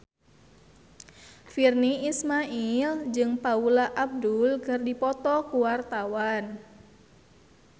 Virnie Ismail jeung Paula Abdul keur dipoto ku wartawan